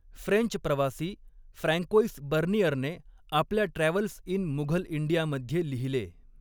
French प्रवासी Francois बर्नियरने आपल्या ट्रॅव्हल्स इन मुघल इंडियामध्ये लिहिले